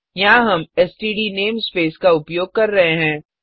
यहाँ हम STD namespace का उपयोग कर रहे हैं